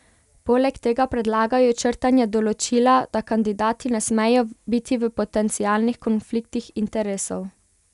Poleg tega predlagajo črtanje določila, da kandidati ne smejo biti v potencialnih konfliktih interesov.